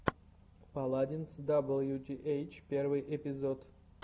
паладинс даблютиэйч первый эпизод